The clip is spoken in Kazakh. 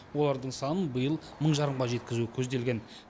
олардың санын биыл мың жарымға жеткізу көзделген